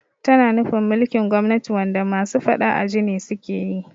Tana nufin mulkin gwamnati wanda masu faɗa aji ne sukeyi